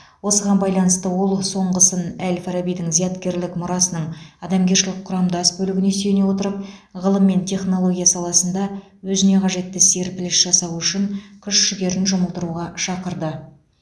осыған байланысты ол соңғысын әл фарабидің зияткерлік мұрасының адамгершілік құрамдас бөлігіне сүйене отырып ғылым мен технология саласында өзіне қажетті серпіліс жасау үшін күш жігерін жұмылдыруға шақырды